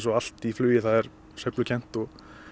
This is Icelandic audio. allt í flugi er sveiflukennt og